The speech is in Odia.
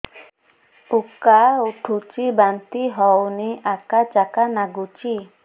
ଉକା ଉଠୁଚି ବାନ୍ତି ହଉନି ଆକାଚାକା ନାଗୁଚି